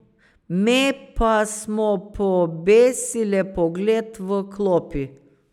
Me pa smo pobesile pogled v klopi.